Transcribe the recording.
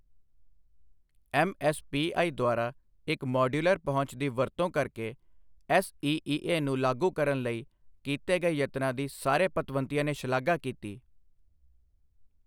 MSPI ਦੁਆਰਾ ਇੱਕ modular ਪਹੁੰਚ ਦੀ ਵਰਤੋਂ ਕਰਕੇ ਐਸਈਈਏ ਨੂੰ ਲਾਗੂ ਕਰਨ ਲਈ ਕੀਤੇ ਗਏ ਯਤਨਾਂ ਦੀ ਸਾਰੇ ਪਤਵੰਤਿਆਂ ਨੇ ਸ਼ਲਾਘਾ ਕੀਤੀ।